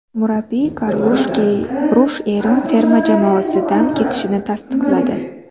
Murabbiy Karlush Keyrush Eron terma jamoasidan ketishini tasdiqladi.